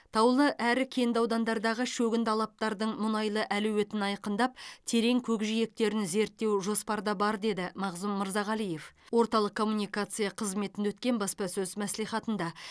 таулы әрі кенді аудандардағы шөгінді алаптардың мұнайлы әлеуетін айқындап терең көкжиектерін зерттеу жоспарда бар деді мағзұм мырзағалиев орталық коммуникация қызметінде өткен баспасөз мәслихатында